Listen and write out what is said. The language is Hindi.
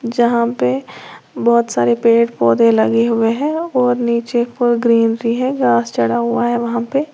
जहां पे बहोत सारे पेड़ पौधे लगे हुए हैं और नीचे ग्रीनरी है और घास चढ़ा हुआ है वहां पे।